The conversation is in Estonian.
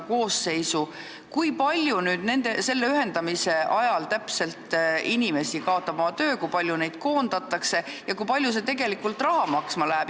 Täpselt kui palju inimesi selle ühendamise ajal oma töö kaotab, kui paljud koondatakse ja kui palju see maksma läheb?